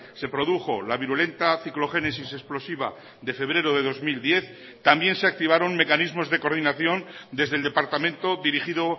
se produjo la virulenta ciclogénesis explosiva de febrero de dos mil diez también se activaron mecanismos de coordinación desde el departamento dirigido